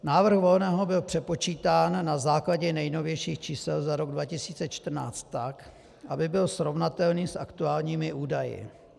Návrh Volného byl přepočítán na základě nejnovějších čísel za rok 2014 tak, aby byl srovnatelný s aktuálními údaji.